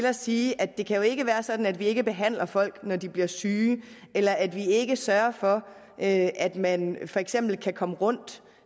at sige at det jo ikke kan være sådan at vi ikke behandler folk når de bliver syge eller at vi ikke sørger for at man for eksempel kan komme rundt